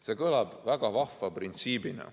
See kõlab väga vahva printsiibina.